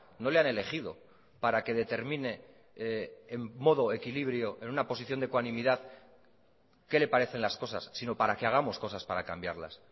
no le han elegido para que determine en modo equilibrio en una posición de ecuanimidad qué le parecen las cosas sino para que hagamos cosas para cambiarlas